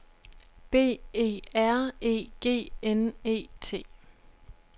B E R E G N E T